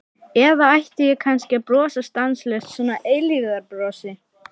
Eða ætti ég kannski að brosa stanslaust, svona eilífðarbrosi?